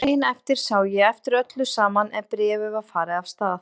Daginn eftir sá ég eftir öllu saman en bréfið var farið af stað.